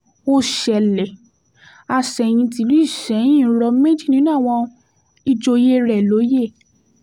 ó ṣẹlẹ̀ àsẹ̀yìn tìlú isẹ́yìn rọ méjì nínú àwọn ìjòyè rẹ̀ lóye